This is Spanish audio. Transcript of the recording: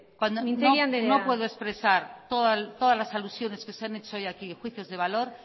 mintegi andrea no puedo expresar todas las alusiones que se han hecho hoy aquí juicios de valor